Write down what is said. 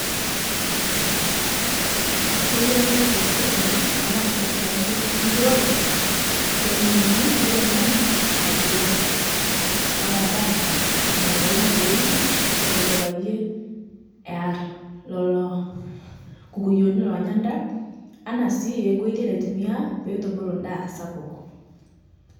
Keyiari nepik sirkali tanaa (cs sector cs) enturore seminani naiteng'en laturok, ana ndaa naistaili pooun neko payie ear lolo kukuyoni lonyaa ndaa, anaa sii nkoitei naitumia petubulu ndaa sapuk.